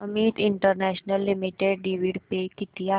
Amit international limited dividend pay किती आहे